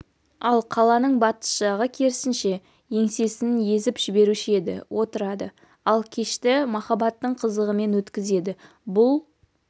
ал қаланың батыс жағы керісінше еңсесін езіп жіберуші еді отырады ал кешті махаббаттың қызығымен өткізеді бұл